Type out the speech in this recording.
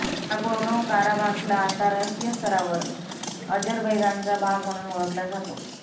Nagorno काराबाखला आंतरराष्ट्रीय स्तरावर अजरबैजानचा भाग म्हणून ओळखला जातो